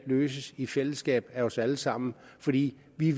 løses i fællesskab af os alle sammen fordi vi